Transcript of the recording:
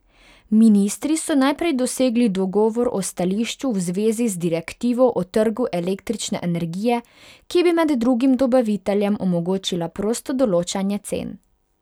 Ministri so najprej dosegli dogovor o stališču v zvezi z direktivo o trgu električne energije, ki bi med drugim dobaviteljem omogočila prosto določanje cen.